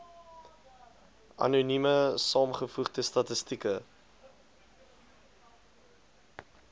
anonieme saamgevoegde statistieke